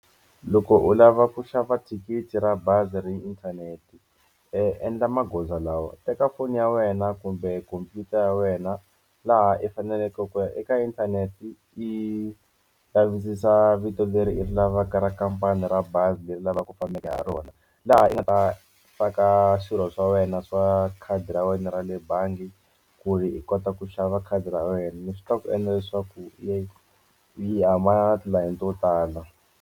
Loko u lava ku xava thikithi ra bazi ri inthanete endla magoza lawa, u teka foni ya wena kumbe khompyuta ya wena laha u faneleke ku ya eka inthanete i lavisisa vito leri i ri lavaka makampani ra bazi leri lavaka fambaka ha rona laha u nga ta faka swilo swa wena swa khadi ra wena ra le bangi ku ri hi kota ku xava khadi ra wena ni swi tivaka ku endla leswaku leyi yi huma tilayini to tala.